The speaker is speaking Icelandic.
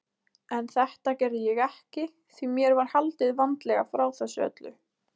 En þetta gerði ég ekki því mér var haldið vandlega frá þessu öllu.